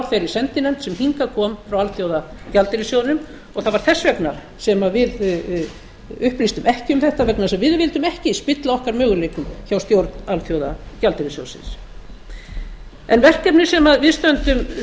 þeirri sendinefnd sem hingað kom frá alþjóðagjaldeyrissjóðnum og það var þess vegna sem við upplýstum ekki um þetta vegna þess að við vildum ekki spilla okkar möguleikum hjá stjórn alþjóðagjaldeyrissjóðsins verkefnið sem við stöndum